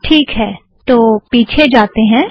teak है तो पीछे जातें हैं